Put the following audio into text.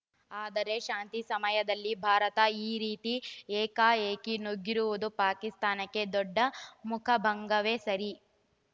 ಆದರೆ ಶಾಂತಿ ಸಮಯದಲ್ಲಿ ಭಾರತ ಈ ರೀತಿ ಏಕಾಏಕಿ ನುಗ್ಗಿರುವುದು ಪಾಕಿಸ್ತಾನಕ್ಕೆ ದೊಡ್ಡ ಮುಖಭಂಗವೇ ಸರಿ